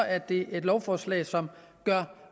er det et lovforslag som gør